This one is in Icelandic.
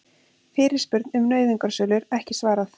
Fyrirspurn um nauðungarsölur ekki svarað